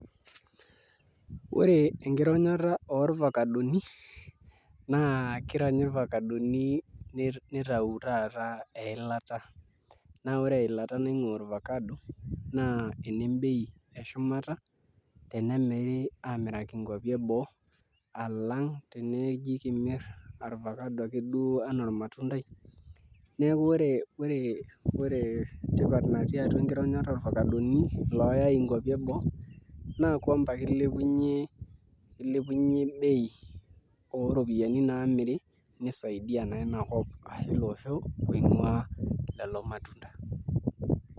Ore enkironyata orvakadoni naa kironyi irvakadoni nitau taata eilata naa ore eilata niang'uaa orvakado na ene mbei eshumata tenemiri aamiraki nkuapi eboo alang' teneji kimirr orvakado akeduo enaa ormatundai, neeku ore tipat natii enkironyata orvakadoni looyai nkuapi eboo naa kwamba kilepunyie bei ooropiyiani naamiri nisaidia naa inakop ashu ilo osho oing'uaa lelo matunda.